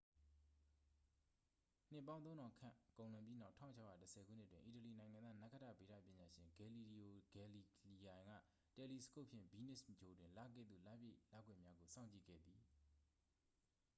နှစ်ပေါင်း သုံးထောင်ခန့် ကုန်လွန်ပြီးနောက် 1610 ခုနှစ်တွင် အီတလီနိုင်ငံသား နက္ခတ္တဗေဒပညာရှင် ဂယ်လီလီယို ဂယ်လီလီယိုင်က တယ်လီစကုပ်ဖြင့် ဗီးနပ်စ်ဂြိုဟ်တွင် လကဲ့သို့ လပြည့်လကွယ်များကို စောင့်ကြည့်ခဲ့သည်